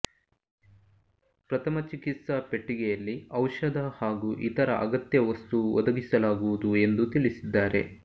ಪ್ರಥಮ ಚಿಕಿತ್ಸಾ ಪೆಟ್ಟಿಗೆಯಲ್ಲಿ ಔಷಧ ಹಾಗೂ ಇತರ ಅಗತ್ಯ ವಸ್ತು ಒದಗಿಸಲಾಗುವುದು ಎಂದು ತಿಳಿಸಿದ್ದಾರೆ